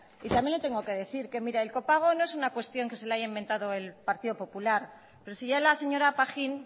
y también le tengo que decir que el copago no es una cuestión que se la haya inventado el partido popular pero si ya la señora pajín